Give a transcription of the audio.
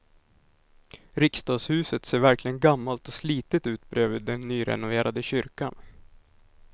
Riksdagshuset ser verkligen gammalt och slitet ut bredvid den nyrenoverade kyrkan.